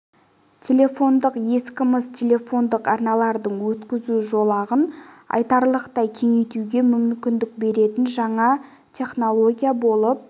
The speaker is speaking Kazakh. телефондық стансаларды жеке абоненттермен байланыстыратын ескі мыс телефондық арналардың өткізу жолағын айтарлықтай кеңейтуге мүмкіндік беретін жаңа технология болып